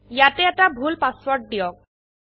ইয়াতে এটা ভুল পাসওয়ার্ড দিয়ক